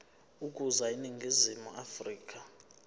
ukuza eningizimu afrika